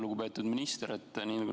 Lugupeetud minister!